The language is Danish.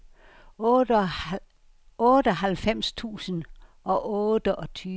otteoghalvfems tusind og otteogtyve